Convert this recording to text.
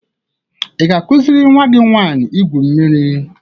Ị ga-akụziri nwa gị nwanyị igwu mmiri